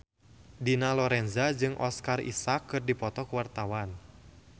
Dina Lorenza jeung Oscar Isaac keur dipoto ku wartawan